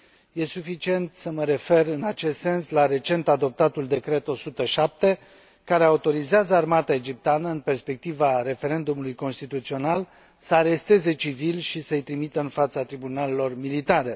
e suficient să mă refer în acest sens la recent adoptatul Decret 107, care autorizează armata egipteană, în perspectiva referendumului constituțional, să aresteze civili și să i trimită în fața tribunalelor militare.